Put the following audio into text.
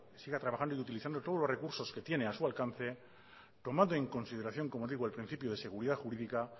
siga trabajando y que siga utilizando todos los recursos que tiene a su alcance tomando en consideración como digo el principio de seguridad jurídica